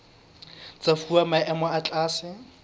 tsa fuwa maemo a tlase